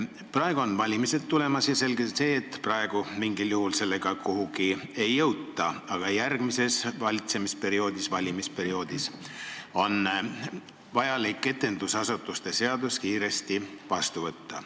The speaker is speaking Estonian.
Praegu on valimised tulemas ja on selge, et mingil juhul sellega kuhugi ei jõuta, aga järgmisel koosseisul on vaja etendusasutuste seadus kiiresti vastu võtta.